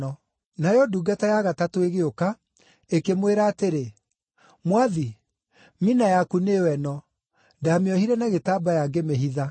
“Nayo, ndungata ya gatatũ ĩgĩũka, ĩkĩmwĩra atĩrĩ, ‘Mwathi, mina yaku nĩyo ĩno; ndaamĩohire na gĩtambaya ngĩmĩhitha.